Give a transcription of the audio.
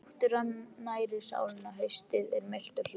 Náttúran nærir sálina Haustið er milt og hlýtt.